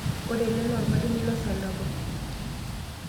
Ore ele naa olmalimui losabu.